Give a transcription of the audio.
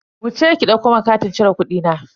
Wuce ki ɗauko mun katin cire kudina.